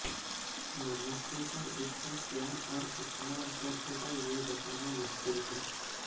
मनुष्यों पर इसका क्या और कितना असर होगा यह बताना मुश्किल है